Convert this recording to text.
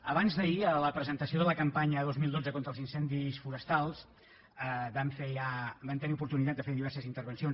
abans d’ahir a la presentació de la campanya dos mil dotze contra els incendis forestals vam tenir l’oportunitat de fer diverses intervencions